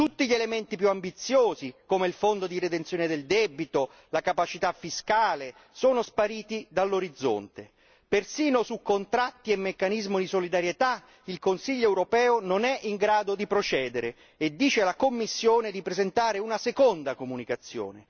Tutti gli elementi più ambiziosi come il Fondo di redenzione del debito, la capacità fiscale, sono spariti dall'orizzonte, persino su contratti e meccanismo di solidarietà, il Consiglio europeo non è in grado di procedere e dice la Commissione di presentare una seconda comunicazione.